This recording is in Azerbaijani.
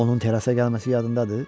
Onun terasa gəlməsi yadındadır?